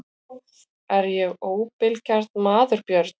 Er ég óbilgjarn maður Björn?